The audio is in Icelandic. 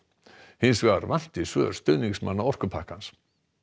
hins vegar vanti svör stuðningsmanna orkupakkans